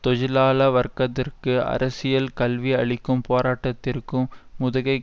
தொஜிலாள வர்க்கத்திற்கு அரசியல் கல்வி அளிக்கும் போராட்டத்திற்கு முதுகைக்